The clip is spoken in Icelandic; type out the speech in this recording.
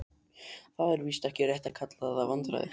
Það er víst ekki rétt að kalla það vandræði.